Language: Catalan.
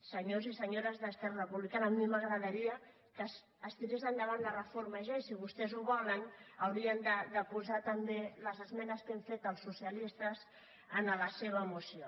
senyors i senyores d’esquerra republicana a mi m’agradaria que es tirés endavant la reforma ja i si vostès ho volen haurien de posar també les esmenes que hem fet els socialistes en la seva moció